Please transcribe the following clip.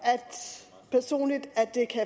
personligt at det kan